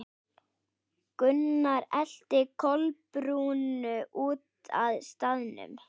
Gunnar elti Kolbrúnu út af staðnum.